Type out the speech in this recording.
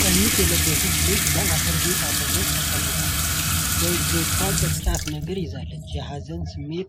ቀሚስ የለበሰች ልጅ በአፈር ቤት አጠገብ ተቀምጣለች። በእጇ ቅርጫት ነገር ይዛለች። የሀዘን ስሜት